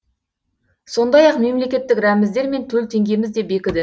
сондай ақ мемлекеттік рәміздер мен төл теңгеміз де бекіді